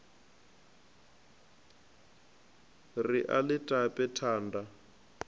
ri a ḽi tape thanda